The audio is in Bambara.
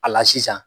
A la sisan